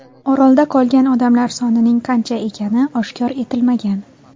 Orolda qolgan odamlar sonining qancha ekani oshkor etilmagan.